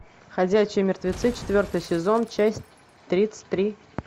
ходячие мертвецы четвертый сезон часть тридцать три